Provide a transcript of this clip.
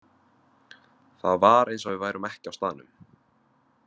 Það var eins og við værum ekki á staðnum.